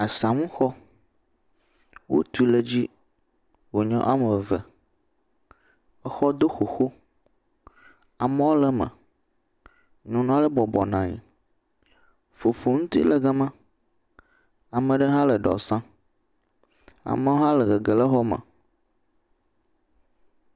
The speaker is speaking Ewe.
Asamuxɔ, wotui ɖe dzi, wònye woame eve, exɔ do xoxo, amewo le me, nyɔnu ale bɔbɔ nɔ anyi, fofoŋti le gama, ame ɖewo hã le ɖewo sem, amewo hã le gegem ɖe xɔ me.